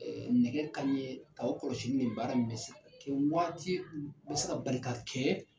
Ɛɛ nɛgɛ kanɲɛ nka o kɔlɔsi nin baara min bɛ waati bɛ se ka bali ka kɛ